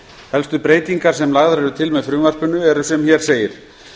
helstu breytingar sem lagðar eru til með frumvarpinu eru sem hér segir